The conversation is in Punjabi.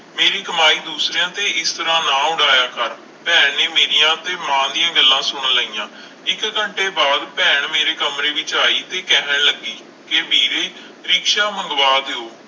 ਮੇਰੀ ਕਮਾਈ ਦੂਸਰਿਆਂ ਤੇ ਇਸ ਤਰ੍ਹਾਂ ਨਾ ਉਡਾਇਆ ਕਰ, ਭੈਣ ਨੇ ਮੇਰੀਆਂ ਤੇ ਮਾਂ ਦੀਆਂ ਗੱਲਾਂ ਸੁਣ ਲਈਆਂ, ਇੱਕ ਘੰਟੇ ਬਾਅਦ ਭੈਣ ਮੇਰੇ ਕਮਰੇ ਵਿੱਚ ਆਈ ਤੇ ਕਹਿਣ ਲੱਗੀ ਕਿ ਵੀਰੇ ਰਿਕਸ਼ਾ ਮੰਗਵਾ ਦਿਓ,